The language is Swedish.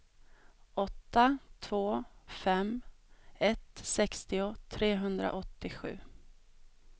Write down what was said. åtta två fem ett sextio trehundraåttiosju